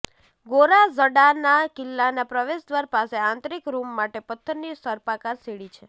ગોરાઝડાના કિલ્લાના પ્રવેશદ્વાર પાસે આંતરિક રૂમ માટે પથ્થરની સર્પાકાર સીડી છે